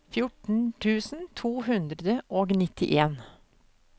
fjorten tusen to hundre og nittien